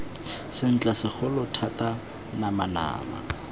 sentle segolo thata nama nama